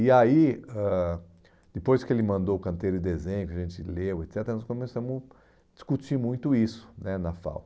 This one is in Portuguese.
E aí, ãh depois que ele mandou o canteiro de desenho, que a gente leu, et cetera, nós começamos a discutir muito isso né na FAU.